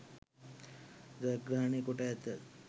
ජයග්‍රහණය කොට ඇත